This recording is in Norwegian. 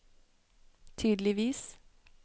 tydeligvis